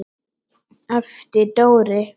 æpti Dóri.